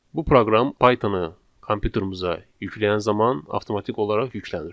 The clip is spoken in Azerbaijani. Bu proqram Python-u kompyuterumuza yükləyən zaman avtomatik olaraq yüklənir.